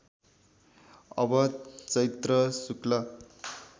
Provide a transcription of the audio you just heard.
अब चैत्र शुक्ल